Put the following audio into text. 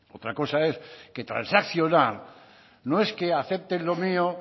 otra cosa es que transaccionar no es que acepten lo mío